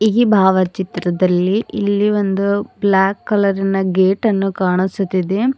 ಈ ಭಾವಚಿತ್ರದಲ್ಲಿ ಇಲ್ಲಿ ಒಂದು ಬ್ಲಾಕ್ ಕಲರ್ರಿನ ಗೇಟನ್ನು ಕಾಣಿಸುತ್ತಿದೆ.